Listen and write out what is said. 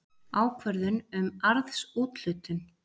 Ákvörðun um arðsúthlutun.